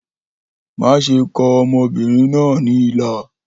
Maṣe kọ ọmọbirin naa ni ilà!